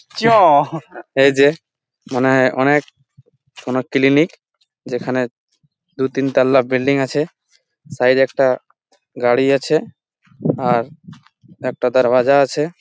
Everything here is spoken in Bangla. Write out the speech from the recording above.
মনে হয়ে এটা একটা কোনো ক্লিনিক । যেখানে দু তিন তোলা বিল্ডিং আছে। সাইড -এ একটা গাড়ি আছে একটা দরওয়াজা আছে।